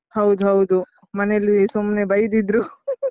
ಹೌದು ಹೌದು ಮನೆಯಲ್ಲಿ ಸುಮ್ನೆ ಬೈದಿದ್ರು .